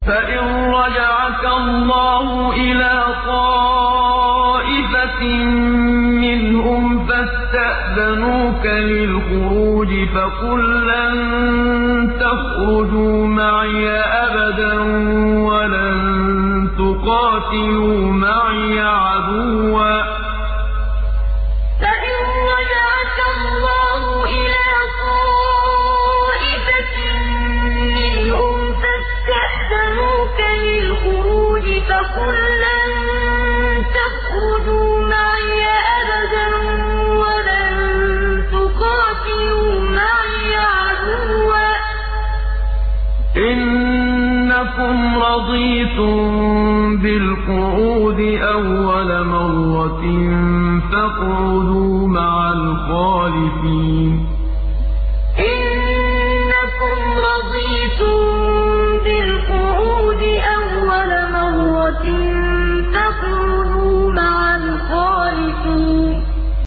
فَإِن رَّجَعَكَ اللَّهُ إِلَىٰ طَائِفَةٍ مِّنْهُمْ فَاسْتَأْذَنُوكَ لِلْخُرُوجِ فَقُل لَّن تَخْرُجُوا مَعِيَ أَبَدًا وَلَن تُقَاتِلُوا مَعِيَ عَدُوًّا ۖ إِنَّكُمْ رَضِيتُم بِالْقُعُودِ أَوَّلَ مَرَّةٍ فَاقْعُدُوا مَعَ الْخَالِفِينَ فَإِن رَّجَعَكَ اللَّهُ إِلَىٰ طَائِفَةٍ مِّنْهُمْ فَاسْتَأْذَنُوكَ لِلْخُرُوجِ فَقُل لَّن تَخْرُجُوا مَعِيَ أَبَدًا وَلَن تُقَاتِلُوا مَعِيَ عَدُوًّا ۖ إِنَّكُمْ رَضِيتُم بِالْقُعُودِ أَوَّلَ مَرَّةٍ فَاقْعُدُوا مَعَ الْخَالِفِينَ